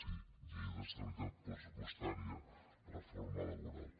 sí llei d’estabilitat pressupostària reforma laboral